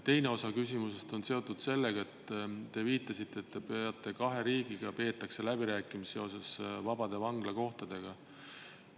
Teine osa küsimusest on seotud sellega, et te viitasite, et kahe riigiga peetakse läbirääkimisi seoses vabade vanglakohtadega.